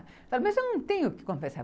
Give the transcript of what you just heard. Eu falava, mas eu não tenho que confessar.